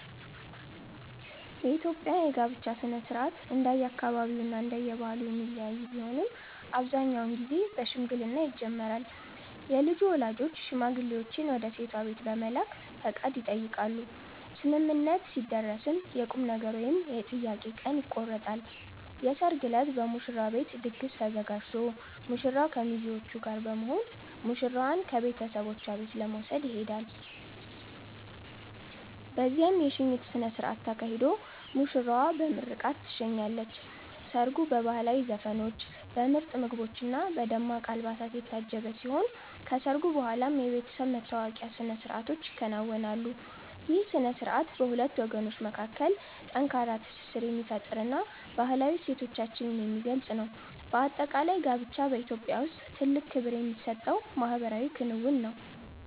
የኢትዮጵያ የጋብቻ ሥነ ሥርዓት እንደየአካባቢውና እንደየባህሉ የሚለያይ ቢሆንም፣ አብዛኛውን ጊዜ በሽምግልና ይጀምራል። የልጁ ወላጆች ሽማግሌዎችን ወደ ሴቷ ቤት በመላክ ፈቃድ ይጠይቃሉ፤ ስምምነት ሲደረስም የቁምነገር ወይም የጥያቄ ቀን ይቆረጣል። የሰርግ ዕለት በሙሽራው ቤት ድግስ ተዘጋጅቶ ሙሽራው ከሚዜዎቹ ጋር በመሆን ሙሽራዋን ከቤተሰቦቿ ቤት ለመውሰድ ይሄዳል። በዚያም የሽኝት ሥነ ሥርዓት ተካሂዶ ሙሽራዋ በምርቃት ትሸኛለች። ሰርጉ በባህላዊ ዘፈኖች፣ በምርጥ ምግቦችና በደማቅ አልባሳት የታጀበ ሲሆን፣ ከሰርጉ በኋላም የቤተሰብ መተዋወቂያ ሥነ ሥርዓቶች ይከናወናሉ። ይህ ሥነ ሥርዓት በሁለት ወገኖች መካከል ጠንካራ ትስስር የሚፈጥርና ባህላዊ እሴቶቻችንን የሚገልጽ ነው። በአጠቃላይ፣ ጋብቻ በኢትዮጵያ ውስጥ ትልቅ ክብር የሚሰጠው ማኅበራዊ ክንውን ነው።